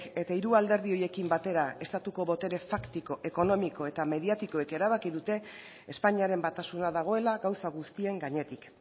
eta hiru alderdi horiekin batera estatuko botere faktiko ekonomiko eta mediatikoek erabaki dute espainiaren batasuna dagoela gauza guztien gainetik